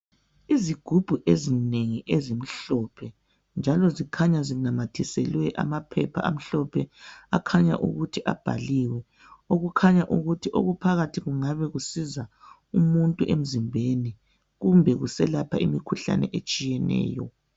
Izigubhu ezinengi ezimhlophe njalo zikhanya zinamathiselwe amaphepha amhlophe akhanya ukuthi abhaliwe okukhanya ukuthi okuphakathi kungabe kusiza umuntu emzimbeni ukwelapha imikhuhlane eminengi ehlukeneyo.